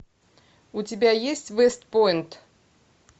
у тебя есть вест пойнт